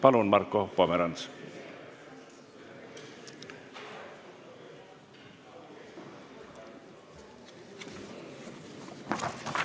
Palun, Marko Pomerants!